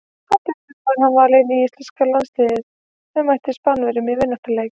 Á dögunum var hann valinn í íslenska landsliðið sem mætti Spánverjum í vináttulandsleik.